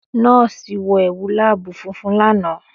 Nọ́ọ̀sì wọ ẹwu laabu funfun lana.